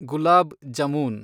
ಗುಲಾಬ್ jamun